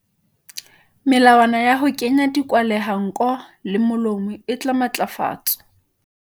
Melawana ya ho kenya dikwahelanko le molomo e tla matlafatswa.